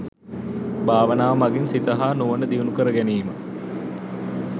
භාවනාව මගින් සිත හා නුවණ දියුණු කර ගැනීම